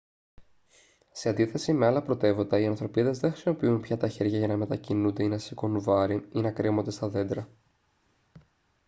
σε αντίθεση με άλλα πρωτεύοντα οι ανθρωπίδες δεν χρησιμοποιούν πια τα χέρια για να μετακινούνται ή να σηκώνουν βάρη ή να κρέμονται στα δέντρα